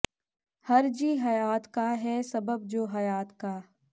ਹਰ ਜੀ ਹਯਾਤ ਕਾ ਹੈ ਸਬਬ ਜੋ ਹਯਾਤ ਕਾ